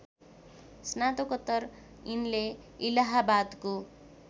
स्नातकोत्तर यिनले इलाहाबादको